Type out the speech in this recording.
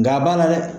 Nga a b'a la dɛ